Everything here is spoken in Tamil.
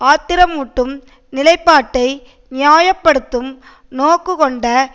ஆத்திரமூட்டும் நிலைப்பாட்டை நியாய படுத்தும் நோக்கு கொண்ட